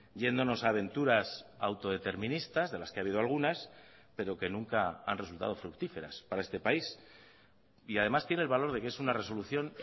yéndonos a aventuras autodeterministas de las que ha habido algunas pero que nunca han resultado fructíferas para este país y además tiene el valor de que es una resolución